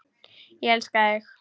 Ég elska þig!